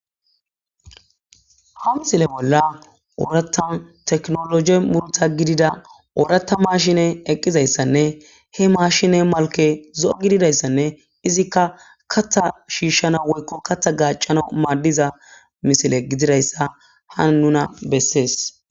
Habthile bolla oorata teknologe murta gidida oorata mashine eqqizayssanne he maashine malke zo'o gididayssanne izikka kattha shiishshana woykko katha gacana maaddiza misile gididayssa ha nuna bessees